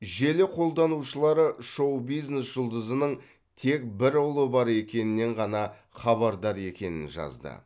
желі қолданушылары шоу бизнес жұлдызының тек бір ұлы бар екенінен ғана хабардар екенін жазды